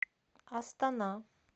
астана